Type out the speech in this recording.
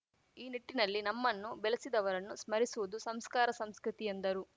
ಈ ನಿಟ್ಟಿನಲ್ಲಿ ನಮ್ಮನ್ನು ಬೆಲೆಸಿದವರನ್ನು ಸ್ಮರಿಸುವುದು ಸಂಸ್ಕಾರ ಸಂಸ್ಕೃತಿ ಎಂದರು